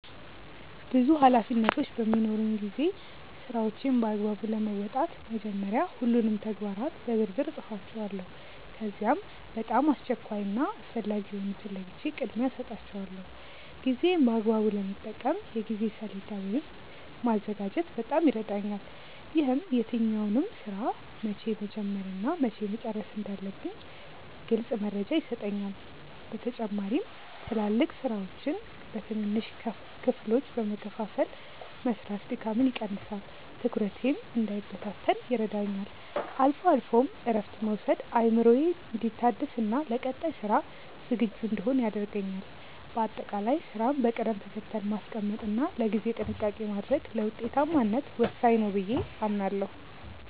ብዙ ኃላፊነቶች በሚኖሩኝ ጊዜ ስራዎቼን በአግባቡ ለመወጣት መጀመሪያ ሁሉንም ተግባራት በዝርዝር እጽፋቸዋለሁ። ከዚያም በጣም አስቸኳይ እና አስፈላጊ የሆኑትን ለይቼ ቅድሚያ እሰጣቸዋለሁ። ጊዜዬን በአግባቡ ለመጠቀም የጊዜ ሰሌዳ ወይም ማዘጋጀት በጣም ይረዳኛል። ይህም የትኛውን ስራ መቼ መጀመር እና መቼ መጨረስ እንዳለብኝ ግልጽ መረጃ ይሰጠኛል። በተጨማሪም ትላልቅ ስራዎችን በትንንሽ ክፍሎች በመከፋፈል መስራት ድካምን ይቀንሳል፤ ትኩረቴም እንዳይበታተን ይረዳኛል። አልፎ አልፎም እረፍት መውሰድ አእምሮዬ እንዲታደስና ለቀጣይ ስራ ዝግጁ እንድሆን ያደርገኛል። በአጠቃላይ ስራን በቅደም ተከተል ማስቀመጥ እና ለጊዜ ጥንቃቄ ማድረግ ለውጤታማነት ወሳኝ ነው ብዬ አምናለሁ።